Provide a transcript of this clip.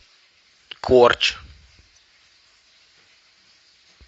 корч